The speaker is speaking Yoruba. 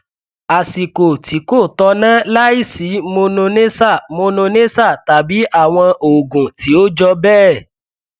àsìkò tí kò tọnà láìsí mononessa mononessa tàbí àwọn oògùn tí ó jọ bẹẹ